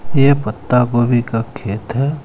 ये पत्ता गोभी का खेत है.